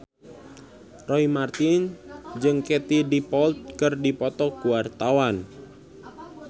Roy Marten jeung Katie Dippold keur dipoto ku wartawan